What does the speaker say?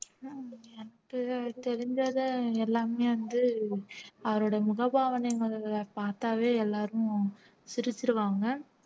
தெரி தெரிஞ்சதை எல்லாமே வந்து அவருடைய முகபாவனை பார்த்தாவே எல்லாரும் சிரிச்சிருவாங்க